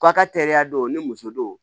Aw ka teriya don ni muso don